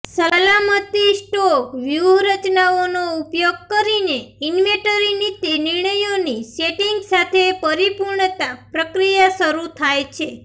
સલામતી સ્ટોક વ્યૂહરચનાઓનો ઉપયોગ કરીને ઈન્વેન્ટરી નીતિ નિર્ણયોની સેટિંગ સાથે પરિપૂર્ણતા પ્રક્રિયા શરૂ થાય છે